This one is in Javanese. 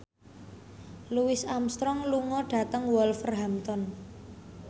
Louis Armstrong lunga dhateng Wolverhampton